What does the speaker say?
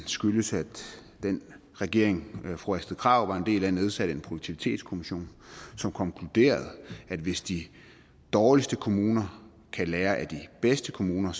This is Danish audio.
skyldes at den regering som fru astrid krag var en del af nedsatte produktivitetskommissionen som konkluderede at hvis de dårligste kommuner kan lære af de bedste kommuner